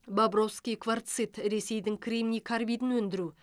бобровский кварцит ресейдің кремний карбидін өндіру